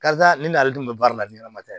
Karisa nin ale dun bɛ baara la ni ɲɛnɛma tɛ